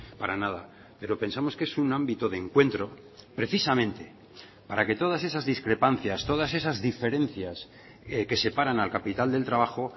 para nada pero pensamos que es un ámbito de encuentro precisamente para que todas esas discrepancias todas esas diferencias que separan al capital del trabajo